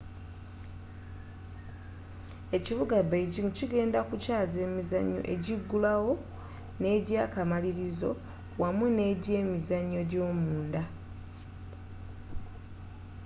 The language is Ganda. ekibuga beijing kigenda kukyaza emizannyo egigulawo n'egy'akamalirizo awamu n'egy'emizannyo gy'omunda